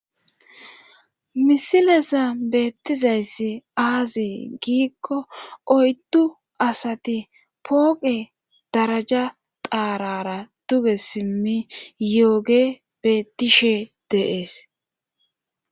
Misilesa beettizayssi aazi giikko oydu asati pooqe daraja daarara duge simmi yooge beettishe deees.